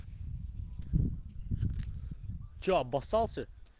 что обоссался